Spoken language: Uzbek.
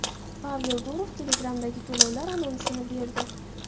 Pavel Durov Telegram’dagi to‘lovlar anonsini berdi.